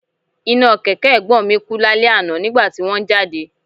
Iná kẹ̀kẹ́ Ẹ̀gbọ́n mi kú lálẹ́ àná nígbà tí wón ń jáde